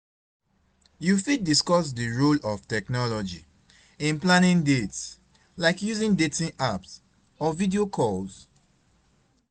You fit discuss di role of technology in planning dates, like using dating apps or video calls?